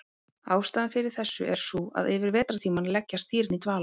Ástæðan fyrir þessu er sú að yfir vetrartímann leggjast dýrin í dvala.